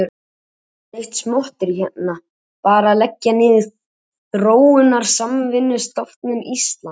Við erum ekki að ræða neitt smotterí hérna, bara að leggja niður Þróunarsamvinnustofnun Íslands.